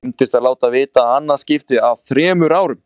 Það gleymdist að láta vita, í annað skiptið á þremur árum.